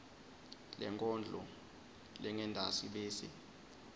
lenkondlo lengentasi bese